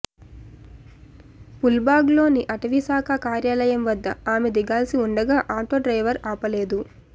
పూల్బాగ్లోని అటవీశాఖ కార్యాలయం వద్ద ఆమె దిగాల్సి ఉండగా ఆటో డ్రైవర్ ఆపలేదు